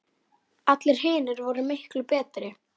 Allir hinir voru miklu betri.